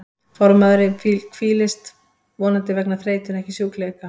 Fornmaður hvílist, vonandi vegna þreytu en ekki sjúkleika.